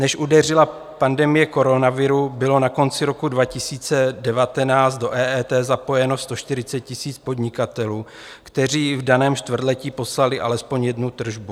Než udeřila pandemie koronaviru, bylo na konci roku 2019 do EET zapojeno 140 000 podnikatelů, kteří v daném čtvrtletí poslali alespoň jednu tržbu.